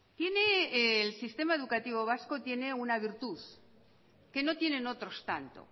tiene el sistema educativo vasco una virtud que no tienen otros tanto